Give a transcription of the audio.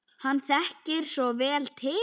Hann þekkir svo vel til.